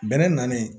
Bɛnɛ nalen